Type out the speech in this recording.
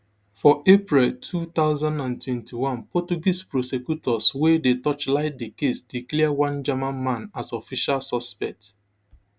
forapril two thousand and twenty-two portuguese prosecutors wey dey torchlight di case declare one german man as official suspect